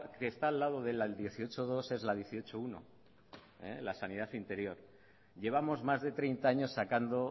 que está al lado del dieciocho punto dos es la dieciocho punto uno la sanidad interior llevamos más de treinta años sacando